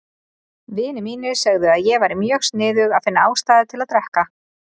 Vinir mínir sögðu að ég væri mjög sniðug að finna ástæðu til að drekka.